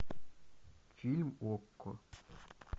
фильм окко